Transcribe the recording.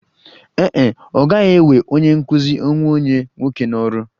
Ee e, ọ gaghị ewe onye nkụzi onwe onye nwoke n'ọrụ